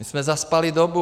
My jsme zaspali dobu.